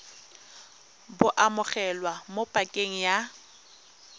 bo amogelwa mo pakeng ya